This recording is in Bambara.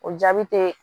O jaabi te